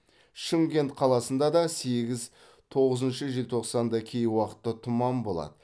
шымкент қаласында да сегіз тоғызыншы желтоқсанда кей уақытта тұман болады